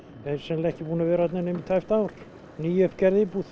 er sennilega ekki búinn að vera þarna nema í tæpt ár nýuppgerð íbúða